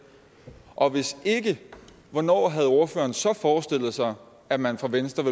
og hvis ikke hvornår havde ordføreren så forestillet sig at man fra venstres